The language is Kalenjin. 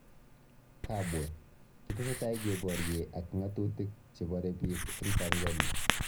Kabwe: Kitesetai kebarye ak ng'atutik che bare biik eng Tanzania